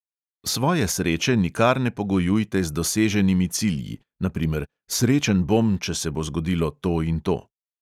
Svoje sreče nikar ne pogojujte z doseženimi cilji, na primer, srečen bom, če se bo zgodilo to in to.